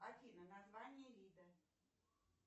афина название вида